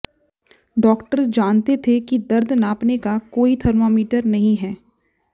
doctor जानते थे कि दर्द नापने का कोई थर्मामीटर नहीं है